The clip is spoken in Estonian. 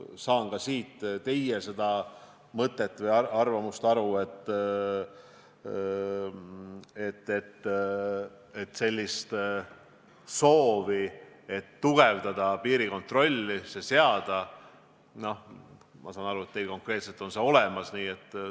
Saan teie mõttest aru, et teil konkreetselt on piirikontrolli tugevdamise soov olemas.